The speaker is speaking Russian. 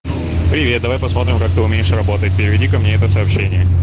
привет давай посмотрим как ты умеешь работать переведи ко мне это сообщение